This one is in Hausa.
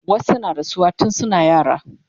wasu na rasuwa tun suna yara